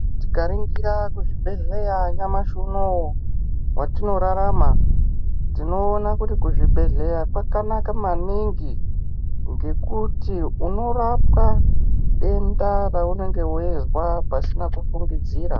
Tikaningira kuzvibhehleya nyamashi unowu watinorarama tinoona kuti kuzvibhehleya kwakanaka maningi ngekuti unorapwa denda raunenga weizwa pasina kufungidzira